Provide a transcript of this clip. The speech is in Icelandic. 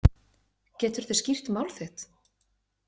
Geturðu skýrt mál þitt?